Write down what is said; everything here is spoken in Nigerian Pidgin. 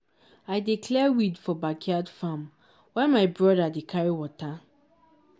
i dey clear weed for backyard farm while my brother dey carry water.